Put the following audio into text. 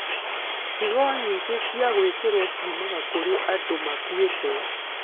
Higo nyingĩ cia gwĩkĩro ciumaga kũrĩ andũ makuĩte.